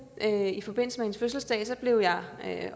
hende i forbindelse med hendes fødselsdag blev jeg